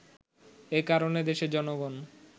এ কারণে দেশের জনগণ